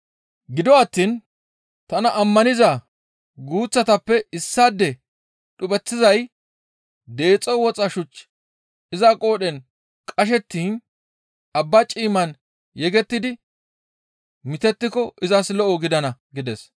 «Gido attiin tana ammaniza guuththatappe issaade dhupheththizay deexo woxa shuchchi iza qoodhen qashettiin abba ciimman yegettidi mitettiko izas lo7o gidana.